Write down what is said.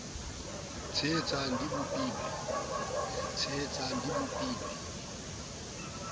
tshehetsan g di bopil we